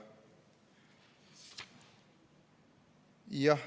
" Jah.